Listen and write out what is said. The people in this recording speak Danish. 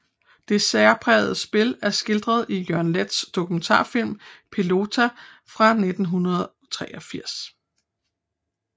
Det særprægede spil er skildret i Jørgen Leths dokumentarfilm Pelota fra 1983